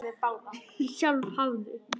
Sjálf hafði